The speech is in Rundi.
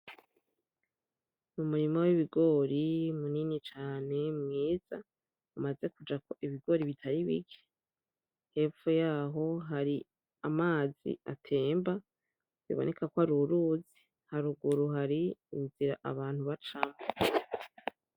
Umurima w'ibigori munini cane mwiza, umaze kujako ibigori bitari bike. Hepfo yaho hari amazi atemba biboneka ko ari uruzi, haruguru hari inzira abantu bacamwo.